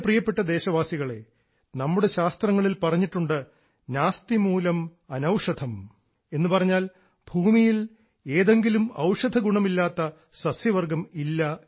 എൻറെ പ്രിയപ്പെട്ട ദേശവാസികളേ നമ്മുടെ ശാസ്ത്രങ്ങളിൽ പറഞ്ഞിട്ടുണ്ട് ഭൂമിയിൽ എന്തെങ്കിലും ഔഷധഗുണമില്ലാത്ത സസ്യവർഗ്ഗം ഇല്ല